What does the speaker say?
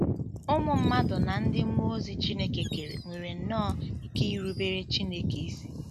Ụmụ mmadụ na ndị mmụọ ozi Chineke kere nwere nnọọ ike irubere Chineke isi.